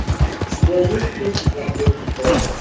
у тебя есть кинчик навстречу шторму